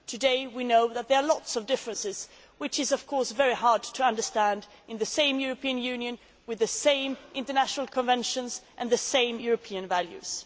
Today, we know that there are lots of differences, which is, of course, very hard to understand in the same European Union with the same international conventions and the same European values.